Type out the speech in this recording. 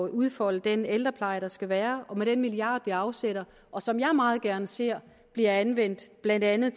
udfolde den ældrepleje der skal være og med den milliard vi afsætter og som jeg meget gerne ser bliver anvendt til blandt andet